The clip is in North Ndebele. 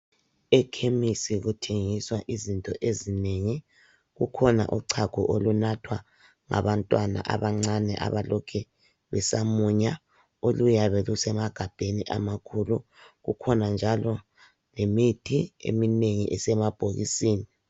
Ekhemisi kuthengiswa izinto ezinengi kukhona uchago olunathwa ngabantwana abancane abalokhe besamunya oluyabe kusemagabheni amakhulu kukhona njalo lemithi eminengi esemabhokisini.